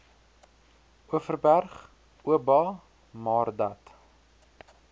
overberg oba maardat